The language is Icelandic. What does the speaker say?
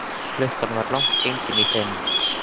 Klukkan var langt gengin í fimm.